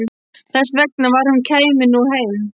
Þess vegna sem hún kæmi nú heim.